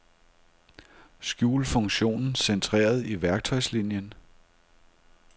Skjul funktionen centreret i værktøjslinien.